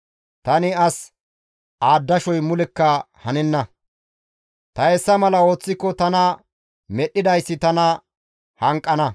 Tani as aadashoy mulekka hanenna; ta hessa mala ooththiko tana medhdhidayssi tana hanqana.